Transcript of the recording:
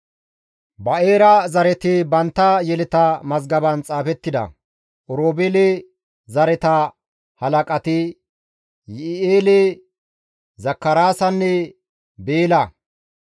Ba7eera zareti bantta yeleta mazgaban xaafettida Oroobeele zereththata halaqati Yi7i7eele, Zakaraasanne Beela.